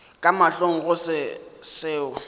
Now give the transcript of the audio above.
ka mahlong go se seo